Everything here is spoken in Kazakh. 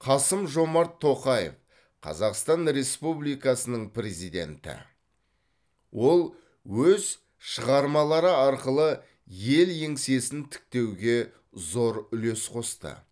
қасым жомарт тоқаев қазақстан республикасының президенті ол өз шығармалары арқылы ел еңсесін тіктеуге зор үлес қосты